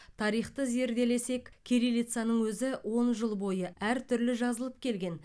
тарихты зерделесек кириллицаның өзі он жыл бойы әртүрлі жазылып келген